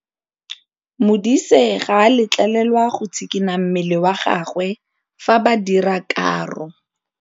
Modise ga a letlelelwa go tshikinya mmele wa gagwe fa ba dira karô.